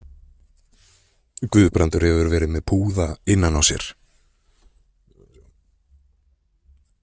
Guðbrandur hefur verið með púða innan á sér